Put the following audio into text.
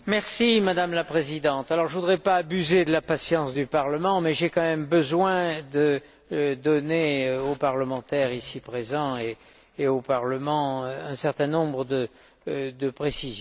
Madame la Présidente, je ne voudrais pas abuser de la patience du Parlement, mais j'ai quand même besoin de donner aux parlementaires ici présents et au Parlement un certain nombre de précisions.